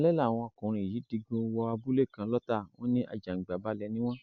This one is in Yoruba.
alẹ làwọn ọkùnrin yìí digun wọ abúlé kan lọtà wọn ní àjàǹgbàbalẹ ni wọn